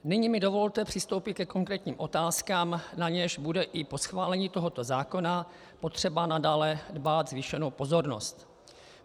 Nyní mi dovolte přistoupit ke konkrétním otázkám, na něž bude i po schválení tohoto zákona potřeba nadále dbát zvýšené pozornosti.